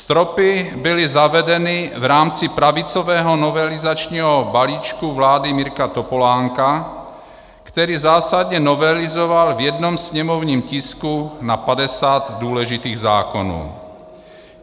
Stropy byly zavedeny v rámci pravicového novelizačního balíčku vlády Mirka Topolánka, který zásadně novelizoval v jednom sněmovním tisku na 50 důležitých zákonů.